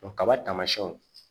kaba taamasiɲɛw